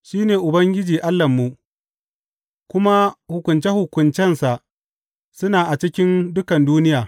Shi ne Ubangiji Allahnmu; kuma hukunce hukuncensa suna a cikin dukan duniya.